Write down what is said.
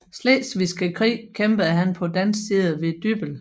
Slesvigske Krig kæmpede han på dansk side ved Dybbøl